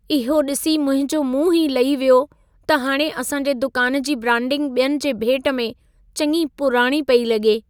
इहो ॾिसी मुंहिंजो मुंहुं ई लही वियो त हाणे असां जे दुकान जी ब्रांडिंग ॿियनि जे भेट में चङी पुराणी पेई लॻे।